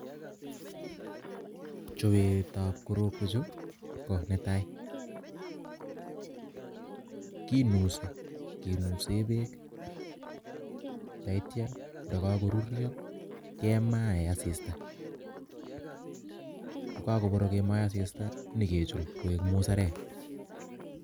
Chopet ap.korokwek chuuu kinusii kinuseee peeek kokakoporok nikichop koek musereeek